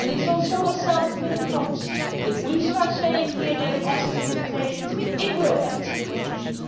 It is also a self fulfilling prophecy if we start saying here that it has its limitations, it will have its limitations.